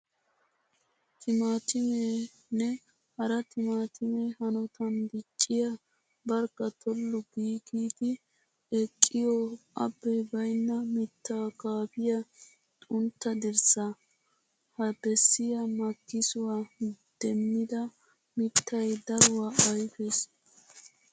Timaattimee nne hara timaattimee hanotan dicciya barkka tollu giigidi eqqiyo abbee baynna mittaa kaafiya xuntta dirssaa. Ha bessiya makkisuwa demmida mittay daruwa ayfees.